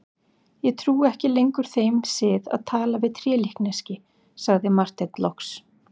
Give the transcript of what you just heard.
Ég trúi ekki lengur þeim sið að tala við trélíkneski, sagði Marteinn loks.